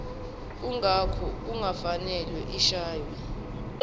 kungakho kungafanele ishaywe